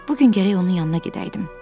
Bu gün gərək onun yanına gedəydim.